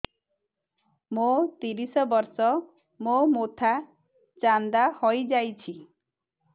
ମୋ ତିରିଶ ବର୍ଷ ମୋ ମୋଥା ଚାନ୍ଦା ହଇଯାଇଛି